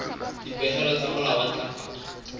dipehelo tsa molao wa ntlafatso